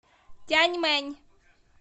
тяньмэнь